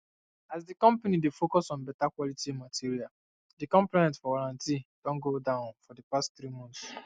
as the company dey focus on beta quality materialthe complaint for warranty don go down for the past three months